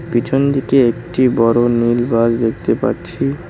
পিছন দিকে একটি বড় নীল বাস দেখতে পারছি।